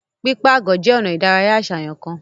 Pipaagọ je ona ìdárayá aṣayan kan.